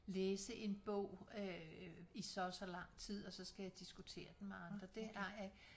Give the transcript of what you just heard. Læse en bog øh i så og så lang tid og så skal jeg diskutere den med andre det ej